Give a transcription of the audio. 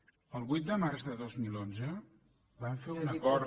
el vuit de març de dos mil onze van fer un acord